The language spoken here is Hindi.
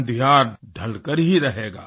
अँधियार ढलकर ही रहेगा